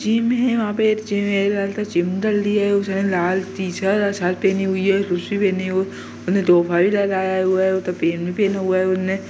gym है वहां पे एक जिम ---